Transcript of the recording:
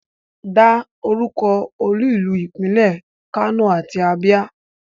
Dá orúkọ olú ìlú ìpínlẹ̀ Kano àti Abia.